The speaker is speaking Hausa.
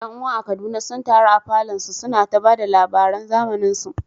’Yan’uwa a Kaduna sun taru a falon su, suna ta ba da labaran zamaninsu.